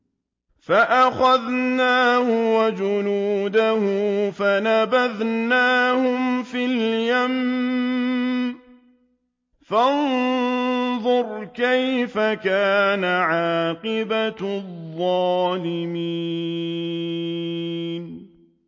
فَأَخَذْنَاهُ وَجُنُودَهُ فَنَبَذْنَاهُمْ فِي الْيَمِّ ۖ فَانظُرْ كَيْفَ كَانَ عَاقِبَةُ الظَّالِمِينَ